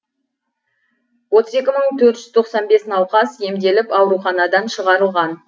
отыз екі мың төрт жүз тоқсан бес науқас емделіп ауруханадан шығарылған